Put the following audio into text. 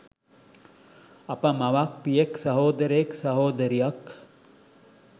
අප මවක්, පියෙක්, සහෝදරයෙක්, සහෝදරියක්,